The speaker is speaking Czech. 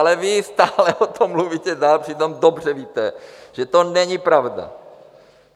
Ale vy stále o tom mluvíte dál, přitom dobře víte, že to není pravda.